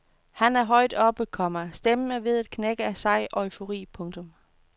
Han er højt oppe, komma stemmen er ved at knække af sej eufori. punktum